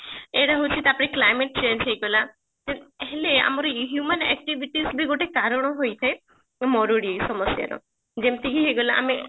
ଏଟା ହଉଛି ତାପରେ climate change ହେଇଗଲା ଉଁ ହେଲେ ଆମର human activities ବି ଗୋଟେ କାରଣ ହୋଇଥାଏ ମରୁଡି ସମସ୍ୟାର ଯେମତି କି ହେଇଗଲା ଆମେ